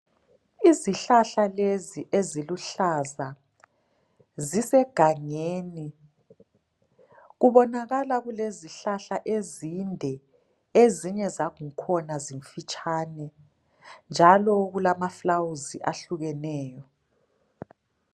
Izihlahla lezi eziluhlaza zisegangeni, kubonakala kulezihlahla ezinde, ezinye zangkhona zifitshane, njalo kulamaflawuzi ahlukeneyo.